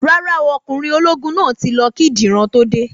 Rárá o, Ọkùnrin ológun náà tí lọ kí Dìran tó dé